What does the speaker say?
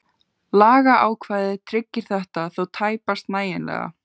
Lagaákvæðið tryggir þetta þó tæpast nægjanlega.